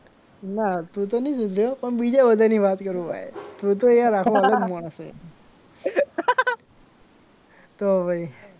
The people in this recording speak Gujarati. ના તું તો નહીં સુધર્યો પણ બીજા બધા ની વાત કરું ભાઈ તું તો યાર આખો અલગ માણસ છે તો પછી